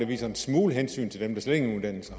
viser en smule hensyn til dem der slet ingen uddannelse